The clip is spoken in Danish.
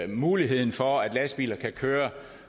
muligheden for at lastbiler kan køre